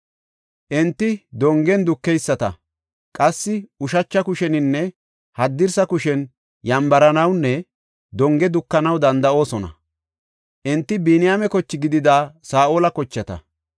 Enti dongen dukeyisata; qassi ushacha kusheninne haddirsa kushen yambaranawnne donge dukanaw danda7oosona. Enti Biniyaame koche gidida Saa7ola kochata.